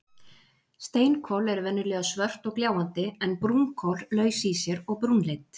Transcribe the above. Steinkol eru venjulega svört og gljáandi en brúnkol laus í sér og brúnleit.